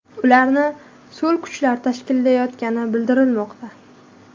Ularni so‘l kuchlar tashkillayotgani bildirilmoqda.